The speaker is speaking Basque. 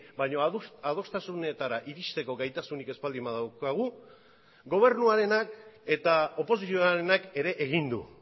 baina adostasunetara iristeko gaitasunik ez baldin badaukagu gobernuarenak eta oposizioarenak ere egin du